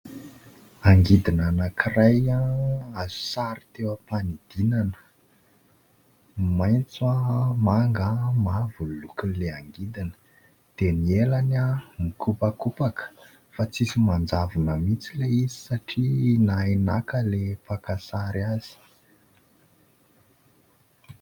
Angidina anankiray, azo sary teo ampanidinana. Maitso manga, mavo ny lokon'ilay angidina dia ny elany mikopakopaka fa tsy misy manjavona mihitsy ilay izy satria nahay naka ilay paka sary azy.